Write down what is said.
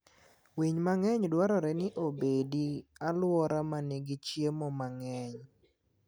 Winy mang'eny dwarore ni obedi aluora ma nigi chiemo mang'eny.